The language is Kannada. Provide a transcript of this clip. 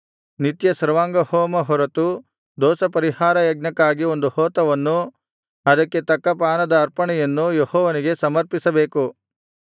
ನಿತ್ಯ ಸರ್ವಾಂಗಹೋಮ ಹೊರತು ದೋಷಪರಿಹಾರ ಯಜ್ಞಕ್ಕಾಗಿ ಒಂದು ಹೋತವನ್ನು ಅದಕ್ಕೆ ತಕ್ಕ ಪಾನದ ಅರ್ಪಣೆಯನ್ನು ಯೆಹೋವನಿಗೆ ಸಮರ್ಪಿಸಬೇಕು